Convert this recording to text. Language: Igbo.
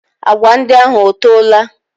Agwa ndị ahụ ọtoola?